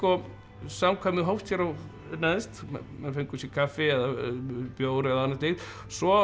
samkvæmið hófst hér neðst menn fengu sér kaffi eða bjór eða annað slíkt svo